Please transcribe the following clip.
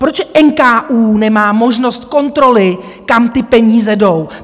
Proč NKÚ nemá možnost kontroly, kam ty peníze jdou?